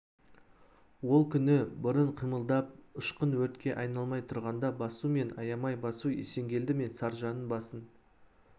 ол күні бұрын қимылдап ұшқын өртке айналмай тұрғанда басу және аямай басу есенгелді мен саржанның басын